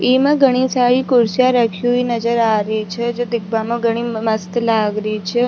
इमा घडी सारी कुर्सियां राखी हुई नजर आ री छे जो दिखबा मा बड़ी घडी मस्त लाग रही छे।